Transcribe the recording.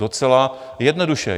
Docela jednoduše.